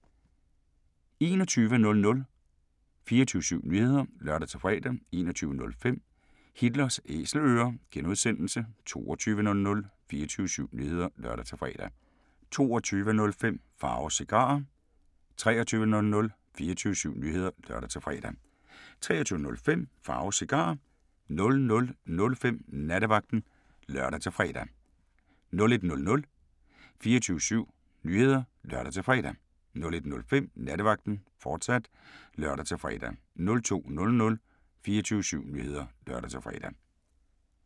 21:00: 24syv Nyheder (lør-fre) 21:05: Hitlers Æselører (G) 22:00: 24syv Nyheder (lør-fre) 22:05: Pharaos Cigarer 23:00: 24syv Nyheder (lør-fre) 23:05: Pharaos Cigarer 00:05: Nattevagten (lør-fre) 01:00: 24syv Nyheder (lør-fre) 01:05: Nattevagten, fortsat (lør-fre) 02:00: 24syv Nyheder (lør-fre)